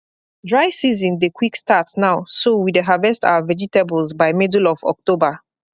dry season dey quick start now so we dey harvest our vegetables by middle of october